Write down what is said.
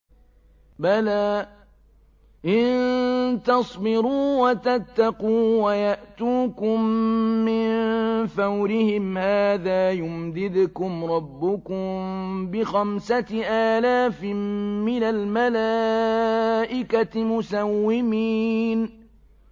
بَلَىٰ ۚ إِن تَصْبِرُوا وَتَتَّقُوا وَيَأْتُوكُم مِّن فَوْرِهِمْ هَٰذَا يُمْدِدْكُمْ رَبُّكُم بِخَمْسَةِ آلَافٍ مِّنَ الْمَلَائِكَةِ مُسَوِّمِينَ